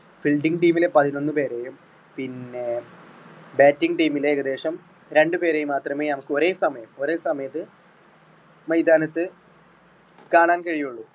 fielding team മിലെ പതിനൊന്ന് പേരെയും പിന്നെ batting team മിലെ ഏകദേശം രണ്ട് പേരെയും മാത്രമേ നമുക്ക് ഒരേ സമയം ഒരേ സമയത്ത് മൈതാനത്ത് കാണാൻ കഴിയുകയുള്ളു.